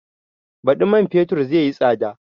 Baɗi man fetur zai yi tsada